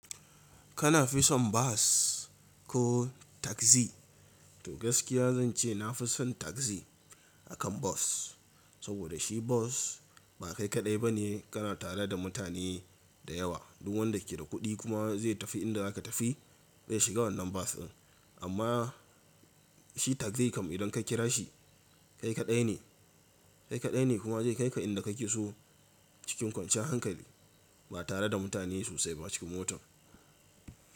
Kana fi son bas ko tagzi? To gaskiya zan ce na fi son tagzi akan bas. Saboda shi bas ba kai kaɗai ba ne, kana tare da mutane da yawa. Duk wanda ke da kuɗi kuma zai tafi inda za ka tafi zai shiga wannan bas ɗin. Amma shi tagzi kam idan ka kira shi, kai kaɗai ne. Kai kaɗai ne kuma zai kai ka inda ka ke so cikin kwanciyar hankali ba tare da mutane sosai ba cikin motar.